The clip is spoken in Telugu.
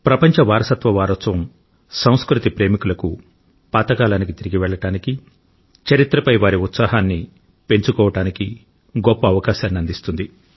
ప్రపంచ వారసత్వ వారోత్సవం సంస్కృతి ప్రేమికులకు పాత కాలానికి తిరిగి వెళ్లడానికి చరిత్రపై వారి ఉత్సాహాన్ని పెంచుకోవడానికి గొప్ప అవకాశాన్ని అందిస్తుంది